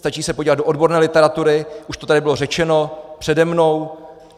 Stačí se podívat do odborné literatury, už to tady bylo řečeno přede mnou.